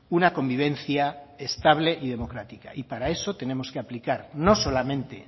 una convivencia estable y democrática para eso tenemos que aplicar no solamente